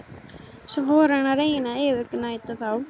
Svo fór hann að reyna að yfirgnæfa þá.